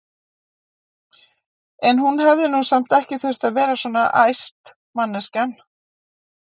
En hún hefði nú samt ekki þurft að verða svona æst, manneskjan!